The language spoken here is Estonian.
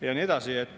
Ja nii edasi.